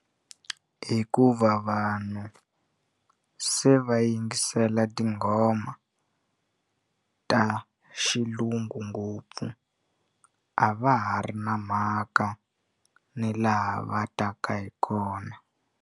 Hikuva vanhu se va yingisela tinghoma ta xilungu ngopfu a va ha ri na mhaka ni laha va taka hi kona.